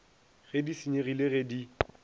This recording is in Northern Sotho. ge di senyegile ge di